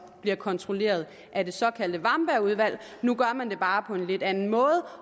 bliver kontrolleret af det såkaldte wamberg udvalg nu gør man det bare på en lidt anden måde